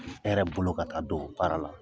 E yɛrɛ bolo ka taa don baara la